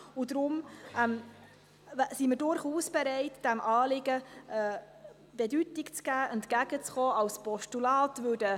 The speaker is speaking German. Deshalb sind wir durchaus bereit, entgegenzukommen, diesem Anliegen Bedeutung zu geben und es als Postulat anzunehmen.